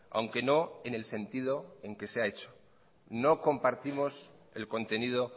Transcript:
aunque no en el sentido en que se ha hecho no compartimos el contenido